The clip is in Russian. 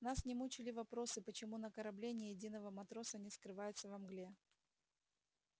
нас не мучили вопросы почему на корабле ни единого матроса не скрывается во мгле